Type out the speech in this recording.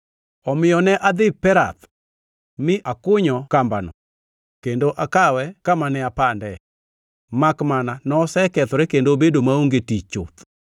Omiyo ne adhi Perath mi akunyo kambano kendo akawe kama ne apande, makmana nosekethore kendo obedo maonge tich chuth.